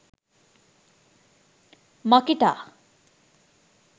makita